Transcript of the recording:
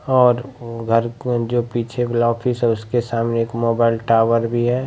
और घर जो पीछे वला ऑफिस है उसके सामने एक मोबाइल टावर भी है।